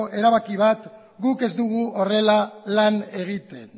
erabaki bat guk ez dugu horrela lan egiten